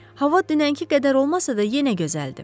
Hava dünənki qədər olmasa da, yenə gözəldir.